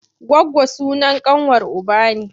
Goggo sunan ƙanwar uba ne.